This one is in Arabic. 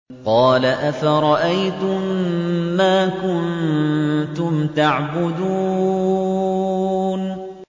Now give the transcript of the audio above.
قَالَ أَفَرَأَيْتُم مَّا كُنتُمْ تَعْبُدُونَ